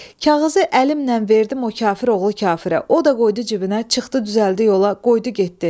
Kağızı əlimlə verdim o kafiroğlu kafirə, o da qoydu cibinə, çıxdı düzəldi yola, qoydu getdi.